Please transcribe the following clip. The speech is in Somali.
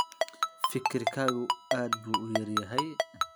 Fikirkaagu aad buu u yar yahay.